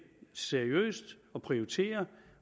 seriøst og prioriterer